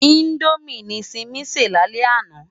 Indómi ni Simi sé lálè àná